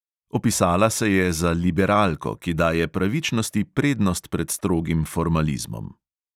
Opisala se je za liberalko, ki daje pravičnosti prednost pred strogim formalizmom.